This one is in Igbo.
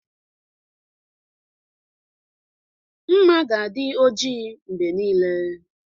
Nma ga adị ọjị mgbe niile.